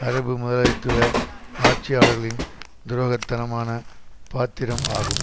அரபு முதலாளித்துவ ஆட்சியாளர்களின் துரோகத்தனமான பாத்திரம் ஆகும்